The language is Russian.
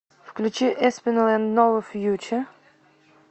включи эспинал энд нова фьюче